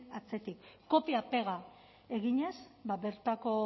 atzetik kopia pega eginez bertako